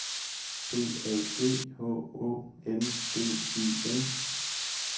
B A G H Å N D E N